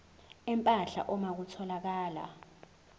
empahla uma kutholakala